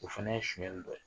O fana ye si kɛ